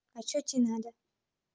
а что тебе надо